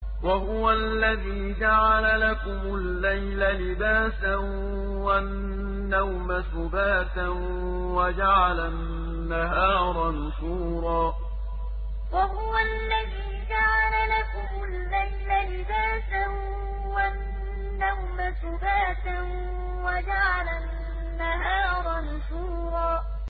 وَهُوَ الَّذِي جَعَلَ لَكُمُ اللَّيْلَ لِبَاسًا وَالنَّوْمَ سُبَاتًا وَجَعَلَ النَّهَارَ نُشُورًا وَهُوَ الَّذِي جَعَلَ لَكُمُ اللَّيْلَ لِبَاسًا وَالنَّوْمَ سُبَاتًا وَجَعَلَ النَّهَارَ نُشُورًا